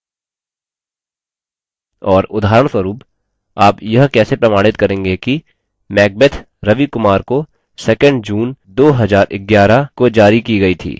और उदाहरणस्वरूप आप यह कैसे प्रमाणित करेंगे कि macbeth ravi kumar को 2nd june 2011 को जारी की गया थी